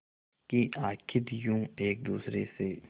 कि आखिर यूं एक दूसरे से